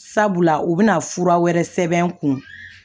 Sabula u bɛna fura wɛrɛ sɛbɛn n kun